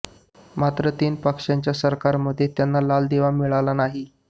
मात्र तीन पक्षांच्या सरकारमध्ये त्यांना लाल दिवा मिळाला नाही